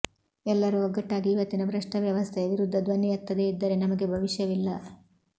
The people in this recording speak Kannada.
ಎಲ್ಲರೂ ಒಗ್ಗಟ್ಟಾಗಿ ಇವತ್ತಿನ ಭ್ರಷ್ಟ ವ್ಯವಸ್ಥೆಯ ವಿರುದ್ಧ ಧ್ವನಿ ಎತ್ತದೇ ಇದ್ದರೆ ನಮಗೆ ಭವಿಷ್ಯವಿಲ್ಲ